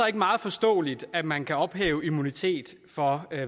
er meget forståeligt at man kan ophæve immunitet for